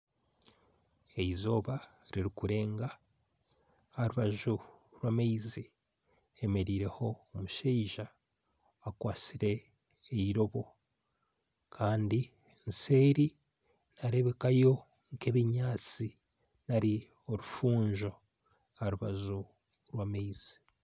Eizooba ririkurenga aha rubaju rw'amaizi hemereireho omushaija akwatsire eirobo Kandi nseeri niharebekayo nkebinyatsi nari orufuunzo aha rubaju rwamaizi